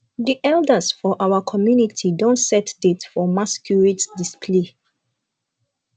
the elders for our our community don set date for masquerades display